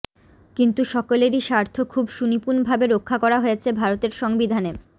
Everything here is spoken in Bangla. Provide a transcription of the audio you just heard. কিন্তু সকলেরই স্বার্থ খুব সুনিপুনভাবে রক্ষা করা হয়েছে ভারতের সংবিধানে